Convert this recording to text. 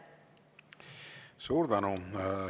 Suur tänu!